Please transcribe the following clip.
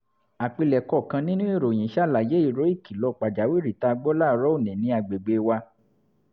àpilẹ̀kọ kan nínú ìròyìn ṣàlàyé ìró ìkìlọ̀ pàjáwìrì tá a gbọ́ láàárọ̀ òní ní àgbègbè wa